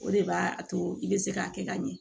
O de b'a to i bɛ se k'a kɛ ka ɲɛ